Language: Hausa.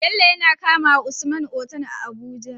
Bello ya kamawa usman Otal a abuja